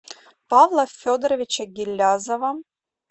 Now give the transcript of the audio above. павла федоровича гилязова